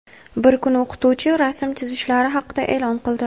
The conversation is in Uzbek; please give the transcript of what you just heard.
Bir kuni o‘qituvchisi rasm chizishlari haqida eʼlon qildi.